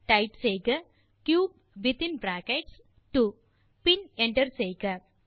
type செய்க cube within bracket 2 பின் enter செய்க